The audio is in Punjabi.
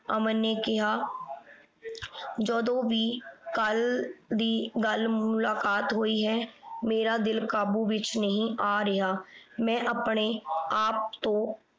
ਅਮਨ ਨੇ ਕਿਹਾ ਜਦੋਂ ਵੀ ਕੱਲ ਦੀ ਗੱਲ ਮੁਲਾਕਾਤ ਹੋਈ ਹੈ ਮੇਰਾ ਦਿਲ ਕਾਬੂ ਵਿਚ ਨਹੀਂ ਆ ਰਿਹਾ। ਮੈਂ ਆਪਣੇ ਆਪ ਤੋਂ